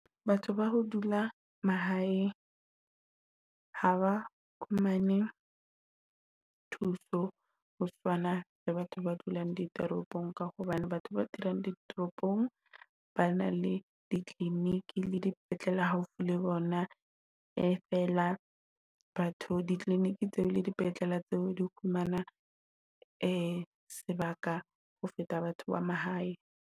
Batho ba ho dula mahae haba fumane thuso ho swana le ya batho ba dulang ditoropong, ka hobane batho ba dulang ditoropong ba na le di-clinic le dipetlele haufi le bona. E fela batho di-clinic tseo le di-petlele tseo di fumana sebaka ho feta batho ba mahae.